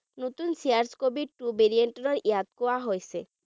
নতুন cas covid two variant লৈ ইয়াক কোৱা হৈছে